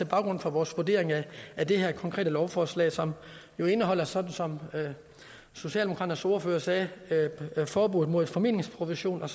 grund for vores vurdering af det konkrete lovforslag som jo indeholder sådan som socialdemokraternes ordfører sagde forbud mod formidlingsprovision og